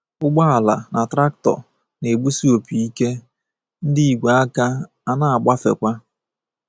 Ụgbọala na traktọ na-egbusi opi ike, ndị ígwè aka a na-agbafekwa.